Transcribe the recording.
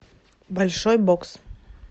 большой бокс